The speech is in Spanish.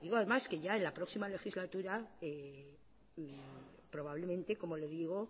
además que ya en la próxima legislatura probablemente como le digo